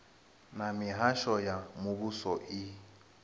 na mihasho ya muvhuso i